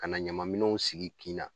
Ka na ɲaman minɛnw sigi kin na.